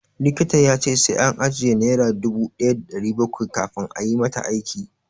Likita ya ce sai an ajiye naira dubu ɗaya da ɗari bakwai kafin ayi mata aiki.